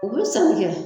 U bɛ san kɛ